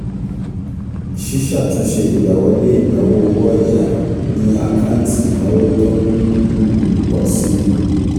um ṣíṣàtúnṣe ìgbàwọlé ìnáwó owó ọ̀ya ni àkáǹtì ìnáwó tó ń um pọ̀ um si